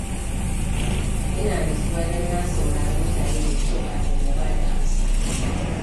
Ina natsuwa don na saurari mutane da kyau kafin na ba da amsa.